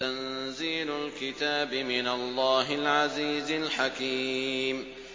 تَنزِيلُ الْكِتَابِ مِنَ اللَّهِ الْعَزِيزِ الْحَكِيمِ